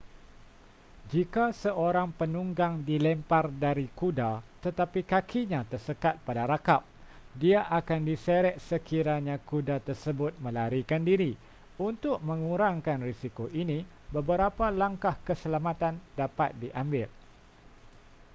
jika seorang penunggang dilempar dari kuda tetapi kakinya tersekat pada rakap dia akan diseret sekiranya kuda tersebut melarikan diri untuk mengurangkan risiko ini beberapa langkah keselamatan dapat diambil